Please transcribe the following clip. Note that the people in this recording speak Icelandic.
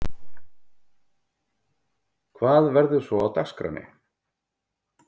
Hvað verður svo á dagskránni?